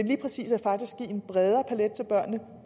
lige præcis give en bredere palet til børnene